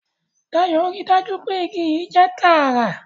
Dayo rí dájú pé ìgi yii jẹ tààrà